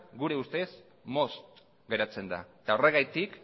gure ustez motz geratzen da eta horregatik